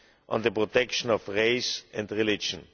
on the protection of race and religion.